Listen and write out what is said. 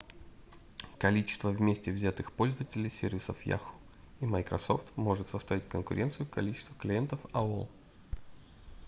количество вместе взятых пользователей сервисов yahoo и microsoft сможет составить конкуренцию количеству клиентов aol